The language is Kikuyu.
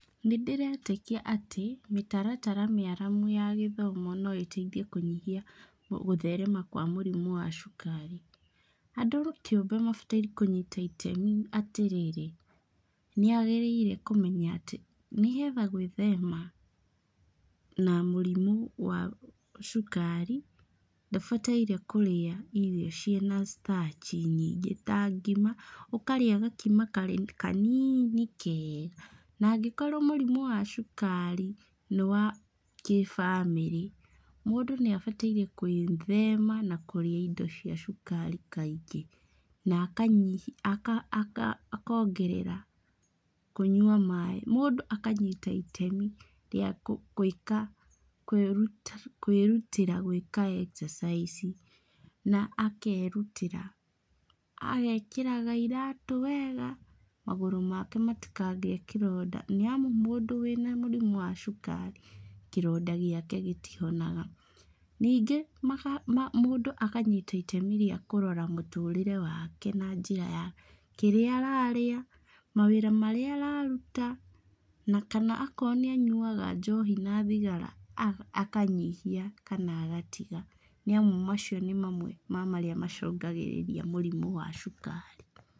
Nĩndĩretĩkia atĩ, mĩtaratara mĩaramu ya gĩthomo noĩteithie kĩnyihia gũtherema kwa mũrimũ wa cukari. Andũ kĩũmbe mabataire kũnyita itemi atĩrĩrĩ, nĩagĩrĩire kũmenya atĩ, nĩgetha gwĩthema na mũrimũ wa cukari, ndabataire kũrĩa irio ciĩna starch i nyingĩ tangima, ũkarĩa gakima kanini kega. Na angĩkorwo mũrimũ wa cukari nĩwa kĩ-bamĩrĩ, mũndũ nĩabataire gwĩthema na kũrĩa indo cia cukari kaingĩ, na akongerera kũnyua maaĩ. Mũndũ akanyita itemi rĩa gwĩka kwĩrutĩra gwĩka ekcacaici na akerutĩra, agekĩraga iratũ wega, magũrũ make matikagĩe kĩronda, nĩamu mũndũ wĩna mũrimũ wa cukari, kĩronda gĩake gĩtihonaga. Ningĩ mũndũ akanyita itemi rĩa kũrora mũtũrĩre wake na njĩra ya: kĩrĩa ararĩa, mawĩra marĩa araruta, na kana akorwo nĩ anyuaga njohi na thigara, akanyihia kana agatiga. Nĩamu macio nĩ mamwe ma marĩa macũngagĩrĩria mũrimũ wa cukari.